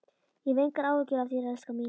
Ég hef engar áhyggjur af þér, elskan mín.